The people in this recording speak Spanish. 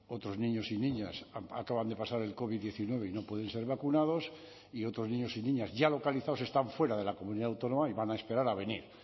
otros niños y niñas acaban de pasar el covid diecinueve y no pueden ser vacunados y otros niños y niñas ya localizados están fuera de la comunidad autónoma y van a esperar a venir